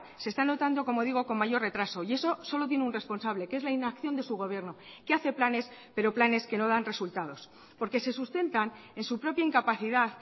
se están notando como digo con mayor retraso y eso solo tiene un responsable que es la inacción de su gobierno que hace planes pero planes que no dan resultados porque se sustentan en su propia incapacidad